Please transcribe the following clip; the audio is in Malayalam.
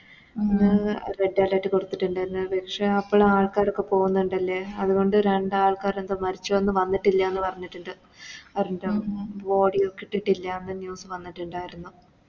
Red alert കൊടുത്തിട്ട്ണ്ട്ന്ന് പക്ഷെ അപ്പളും ആൾക്കാരൊക്കെ പോവുന്നുണ്ടല്ലേ അതുകൊണ്ട് രണ്ടൽക്കാരെന്തോ മരിച്ചു എന്നു വന്നിട്ടില്ലാന്ന് പറഞ്ഞിട്ടുണ്ട് Body ഒന്നും കിട്ടിട്ടില്ലാന്ന് News വന്നിട്ടുണ്ടാരുന്നു